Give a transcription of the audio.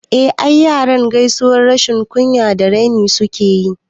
I, yaran yanzu gaisuwan rashin kunya da raini suke yi